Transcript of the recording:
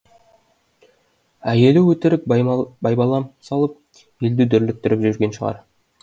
әйелі өтірік байбалам салып елді дүрліктіріп жүрген шығар